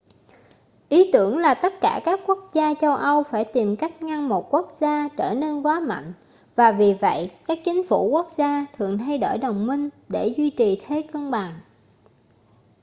ý tưởng là tất cả các quốc gia châu âu phải tìm cách ngăn một quốc gia trở nên quá mạnh và vì vậy các chính phủ quốc gia thường thay đổi đồng minh để duy trì thế cân bằng